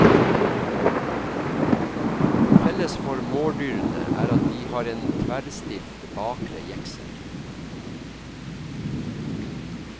Felles for mårdyrene er at de har en tverrstilt bakre jeksel.